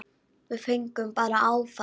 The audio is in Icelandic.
Við fengum bara áfall.